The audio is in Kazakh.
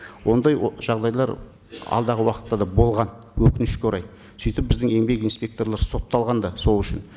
ондай жағдайлар алдағы уақытта да болған өкінішке орай сөйтіп біздің еңбек инспекторлары сотталған да сол үшін